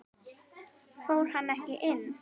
Fór hann ekki inn?